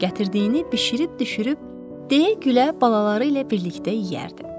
Gətirdiyini bişirib-düşürüb, deyə-gülə balaları ilə birlikdə yeyərdi.